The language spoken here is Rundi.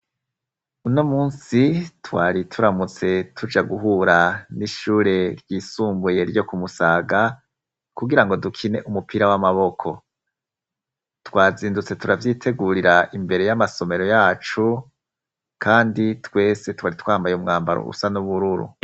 Uno musi twari turamutse tuja guhura n'ishure ryisumbuye ryo kumusaga kugira ngo dukine umupira w'amaboko twazindutse turavyitegurira imbere y'amasomero yacu, kandi twese twari twambaye umwambaro usa n'ubururu.